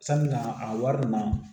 Sanni na a wari nunnu na